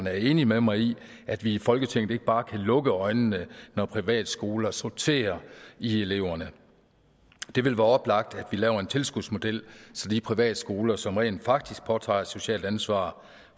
er enig med mig i at vi i folketinget ikke bare kan lukke øjnene når privatskoler sorterer i eleverne det vil være oplagt at vi laver en tilskudsmodel så de privatskoler som rent faktisk påtager sig et socialt ansvar